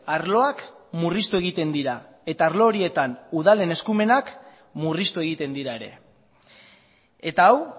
arloak murriztu egiten dira eta arlo horietan udalen eskumenak murriztu egiten dira ere eta hau